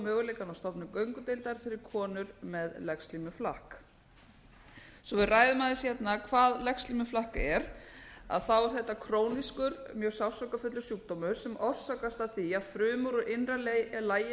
á stofnun göngudeildar fyrir konur með legslímuflakk svo við ræðum aðeins hvað legslímuflakk er þá er þetta krónískur mjög sársaukafullur sjúkdómur sem orsakast af því að frumur úr innra lagi